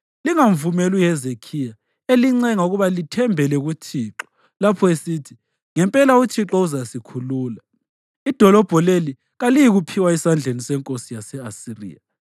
Lingamvumeli uHezekhiya elincenga ukuba lithembele kuThixo lapho esithi ‘Ngempela uThixo uzasikhulula; idolobho leli kaliyikuphiwa esandleni senkosi yase-Asiriya.’ ”